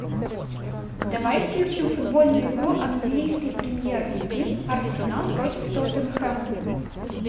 давай включим футбольную игру английской премьер лиги арсенал против тоттенхэм